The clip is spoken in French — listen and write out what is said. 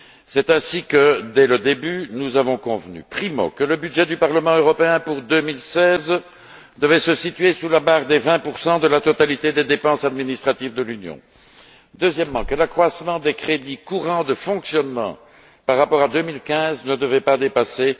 C'est ainsi que, dès le début, nous avons convenu, premièrement, que le budget du Parlement européen pour 2016 devait se situer sous la barre des 20 de la totalité des dépenses administratives de l'Union et, deuxièmement, que l'accroissement des crédits courants de fonctionnement, par rapport à 2015, ne devait pas dépasser